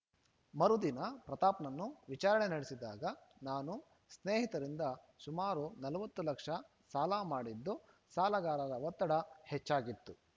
ಮರುದಿನ ಪ್ರತಾಪ್‌ನನ್ನು ವಿಚಾರಣೆ ನಡೆಸಿದಾಗ ನಾನು ಸ್ನೇಹಿತರಿಂದ ಸುಮಾರು ನಲವತ್ತು ಲಕ್ಷ ಸಾಲ ಮಾಡಿದ್ದು ಸಾಲಗಾರರ ಒತ್ತಡ ಹೆಚ್ಚಾಗಿತ್ತು